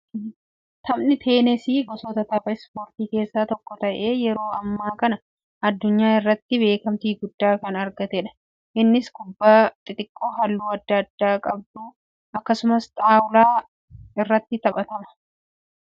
Taphni teenasii gosoota tapha ispoortii keessaa tokko ta'ee yeroo ammaa kana addunyaa irratti beekamtii guddaa kan argataa jirudha. Innis kubbaa xiqqoo halluu adda addaa qabdu akkasumas xaawulaa irratti taphatama. Taphni teenasii fayyaaf akkamiin gumaacha?